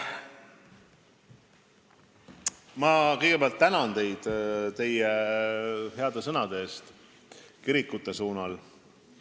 Ma kõigepealt tänan teid heade sõnade eest kirikute suunal.